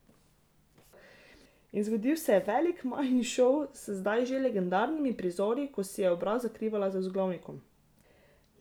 In zgodil se je veliki Majin šov s zdaj že legendarnimi prizori, ko si je obraz zakrivala z vzglavnikom.